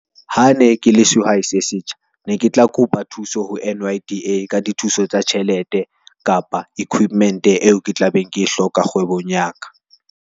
Ha ne ke le sehwai se setjha ne ke tla kopa thuso ho N_Y_D_A ka di thuso tsa tjhelete, kapa equipment eo ke tla beng ke hloka kgwebong ya ka.